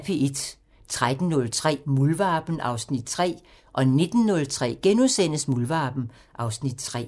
13:03: Muldvarpen (Afs. 3) 19:03: Muldvarpen (Afs. 3)*